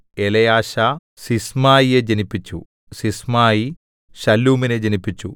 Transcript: Eleasah സിസ്മായിയെ ജനിപ്പിച്ചു Sisamai ശല്ലൂമിനെ ജനിപ്പിച്ചു